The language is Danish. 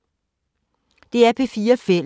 DR P4 Fælles